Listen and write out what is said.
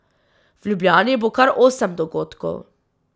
V Ljubljani bo kar osem dogodkov.